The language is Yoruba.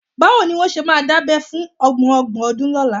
Báwo ni wọ́n ṣe máa dábẹ́ fún ọmọ ọgbọ̀n ọdún lọ́la?